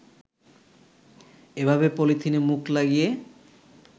এভাবে পলিথিনে মুখ লাগিয়ে